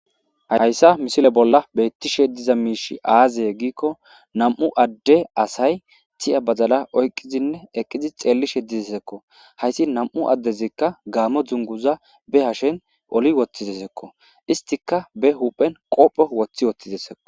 Haysa missile bola betishe diza mishi aze giko nam'u ade asay tiya badala oyqidinne eqidi xelishe dizeziko haysi nam'u adezika gamo dunguza be hashen oli wotizeziko istika be huphen qobe wotiwotisko.